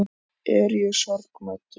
Er ég sorgmæddur?